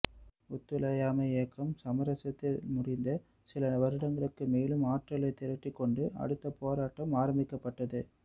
ஒத்துழையாமை இயக்கம் சமரசத்தில் முடிந்த சில வருடங்களுக்குள் மேலும் ஆற்றலைத் திரட்டிக்கொண்டு அடுத்த போராட்டம் ஆரம்பிக்கப்பட்டது